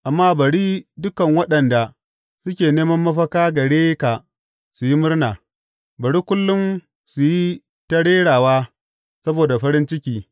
Amma bari dukan waɗanda suke neman mafaka gare ka su yi murna; bari kullum su yi ta rerawa saboda farin ciki.